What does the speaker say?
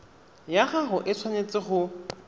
ya gago e tshwanetse go